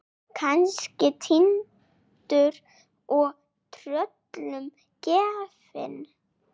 Kannski týndur og tröllum gefinn.